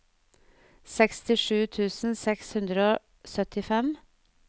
sekstisju tusen seks hundre og syttifem